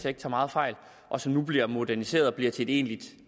ikke tager meget fejl og som nu bliver moderniseret og bliver til et egentligt